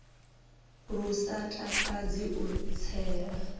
lu sa takadzi u tsela